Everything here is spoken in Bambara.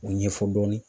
O ɲɛfɔ dɔɔnin